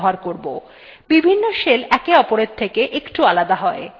বিভিন্ন shells একে অপরের থেকে একটু আলাদা হয়